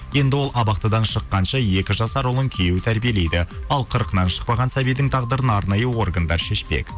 енді ол абақтыдан шыққанша екі жасар ұлын күйеуі тәрбиелейді ал қырқынан шықпаған сәбидің тағдырын арнайы органдар шешпек